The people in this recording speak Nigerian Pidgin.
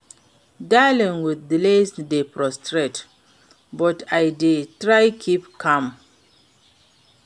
Dealing with delays dey frustrate, but I dey try keep calm.